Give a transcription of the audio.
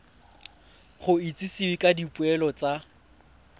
go itsisiwe ka dipoelo tsa